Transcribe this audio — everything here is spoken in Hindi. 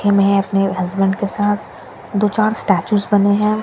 के मैं अपने हसबैंड के साथ दो चार स्टैच्यूस बने हैं।